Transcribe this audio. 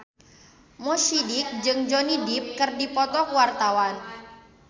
Mo Sidik jeung Johnny Depp keur dipoto ku wartawan